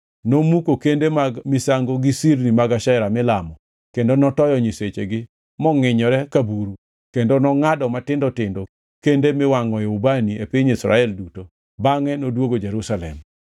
nomuko kende mag misango gi sirni mag Ashera milamo kendo notoyo nyisechegi mongʼinyore ka buru kendo nongʼado matindo tindo kende miwangʼoe ubani e piny Israel duto, bangʼe noduogo Jerusalem.